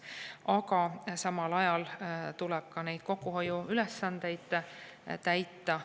Aga samal ajal tuleb ka kokkuhoiuülesandeid täita.